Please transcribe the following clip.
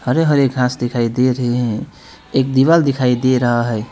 हरे हरे घास दिखाई दे रहे हैं एक दीवार दिखाई दे रहा है।